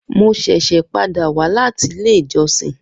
Mo ṣẹṣẹ pada wa lati ile ijọsin